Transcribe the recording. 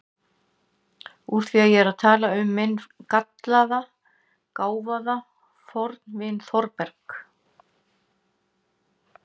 Úr því ég er að skrifa um minn gallaða, gáfaða fornvin Þórberg